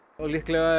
líklega er